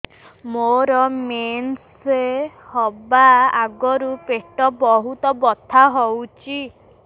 ମୋର ମେନ୍ସେସ ହବା ଆଗରୁ ପେଟ ବହୁତ ବଥା ହଉଚି